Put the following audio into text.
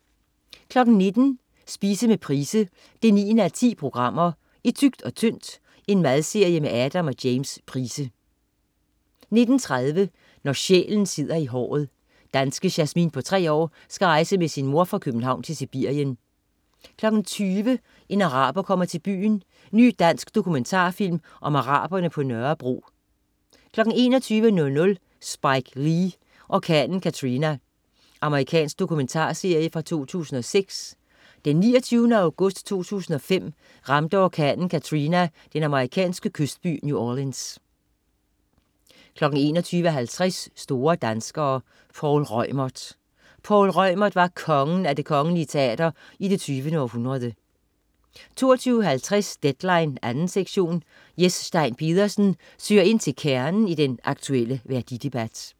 19.00 Spise med Price 9:10. "I tykt og tyndt" Madserie med Adam og James Price 19.30 Når sjælen sidder i håret. Danske Jasmin på tre år skal rejse med sin mor fra København til Sibirien 20.00 En araber kommer til byen. Ny dansk dokumentarfilm om araberne på Nørrebro 21.00 Spike Lee: Orkanen Katrina. Amerikansk domumentarserie fra 2006. Den 29. august 2005 ramte orkanen Katrina den amerikanske kystby New Orleans 21.50 Store danskere. Poul Reumert. Poul Reumert var "kongen" af Det Kongelige Teater i det 20. århundrede 22.50 Deadline 2. sektion. Jes Stein Pedersen søger ind til kernen i den aktuelle værdidebat